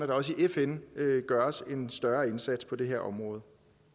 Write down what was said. der også i fn gøres en større indsats på det her område